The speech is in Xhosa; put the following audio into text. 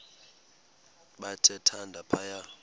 bathe thande phaya